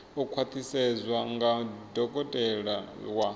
u khwaṱhisedzwa nga dokotela wa